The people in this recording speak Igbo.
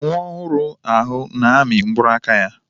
Nwa ohuru ahu na-amị mkpụrụ aka ya.